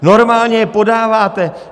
Normálně je podáváte.